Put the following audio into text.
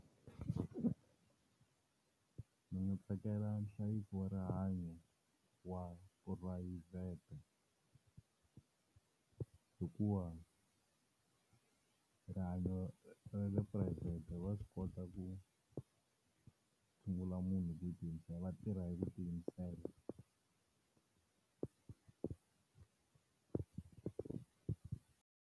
Ndzi nga tsakela nhlayiso wa rihanyo wa phurayivhete. Hikuva rihanyo ra le private va swi kota ku tshungula munhu hi ku tiyimisela va tirha hi ku tiyimisela.